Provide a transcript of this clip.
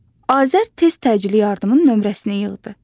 Azər tez təcili yardımın nömrəsini yığdı.